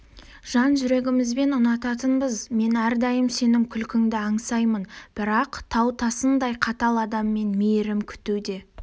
жан жүрегімізбен ұнататынбыз мен әрдайым сенің күлкіңді аңсаймын бірақ тау тасындай қатал адамнан мейірім күту де